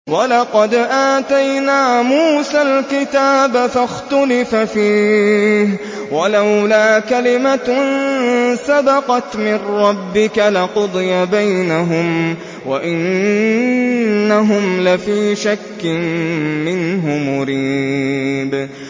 وَلَقَدْ آتَيْنَا مُوسَى الْكِتَابَ فَاخْتُلِفَ فِيهِ ۚ وَلَوْلَا كَلِمَةٌ سَبَقَتْ مِن رَّبِّكَ لَقُضِيَ بَيْنَهُمْ ۚ وَإِنَّهُمْ لَفِي شَكٍّ مِّنْهُ مُرِيبٍ